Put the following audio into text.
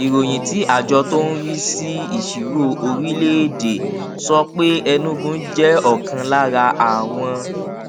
ìròyìn tí àjọ tó ń rí sí ìṣirò orílèèdè sọ pé enugu jé òkan lára àwọn